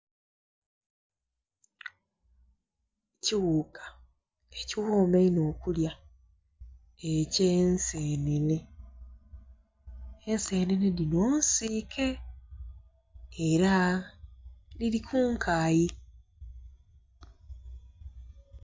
Kiwuuka ekighoma einho okulya, eky'ensenene. Ensenene dhino nsiike era dhili ku nkayi.